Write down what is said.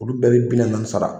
Olu bɛɛ be bi na na sara